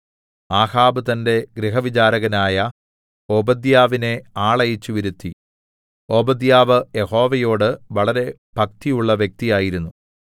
ആഹാബ് തന്റെ ഗൃഹവിചാരകനായ ഓബദ്യാവിനെ ആളയച്ചുവരുത്തി ഓബദ്യാവ് യഹോവയോട് വളരെ ഭക്തിയുള്ള വ്യക്തിയായിരുന്നു